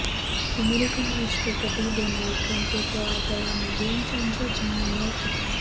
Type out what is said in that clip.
American રાષ્ટ્રપતિ Donald ટ્રમ્પે તો આ દવાને ગેમચેન્જર જણાવી હતી